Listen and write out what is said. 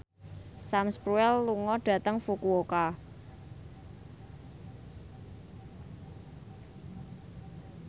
Sam Spruell lunga dhateng Fukuoka